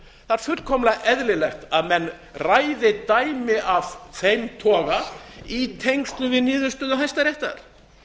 er fullkomlega eðlilegt að menn ræði dæmi af þeim toga í tengslum við niðurstöðu hæstaréttar